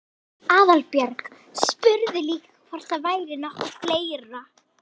Aðalbjörg spurði líka hvort það væri nokkuð fleira?